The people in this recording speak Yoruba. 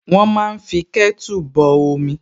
Wọ́n máa fí kẹ́tù bọ omi